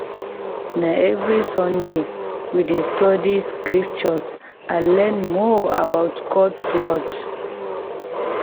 Na every Sunday, we dey study scriptures to learn more about God’s word.